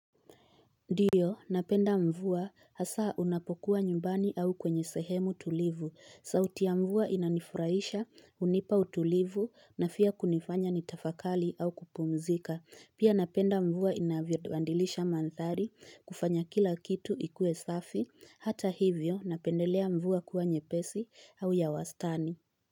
Ndiyo napenda mvua hasa unapokuwa nyumbani au kwenye sehemu tulivu. Sauti ya mvua inanifurahisha unipa utulivu na pia kunifanya nitafakari au kupumzika. Pia napenda mvua inavyoandilisha mandhari kufanya kila kitu ikue safi. Hata hivyo napendelea mvua kuwa nyepesi au ya wastani.